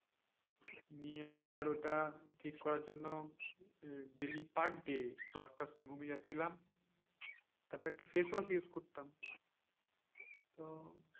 নিয়ে আবার ওটা ঠিক করার জন্য উম daily per day দশটার সময় ঘুমিয়ে যাচ্ছিলাম। তারপর একটা face wash use করতাম। তো,